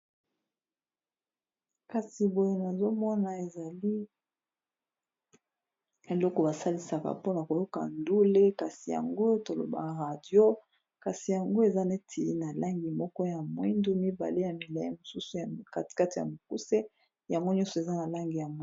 kasi boye nazomona ezali eloko basalisaka mpona koyoka ndule kasi yango tolobaa radio kasi yango eza neti na langi moko ya mwindu mibale ya milai mosusu katikati ya mokuse yango nyonso eza na langi ya moi